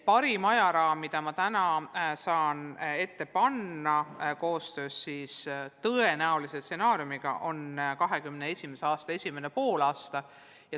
Parim ajaraam, mida ma täna tõenäolise stsenaariumi kohaselt saan ette panna, on 2021. aasta esimene poolaasta.